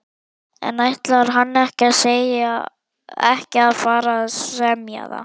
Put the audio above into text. En ætlar hann ekki að fara að semja?